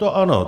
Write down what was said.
To ano.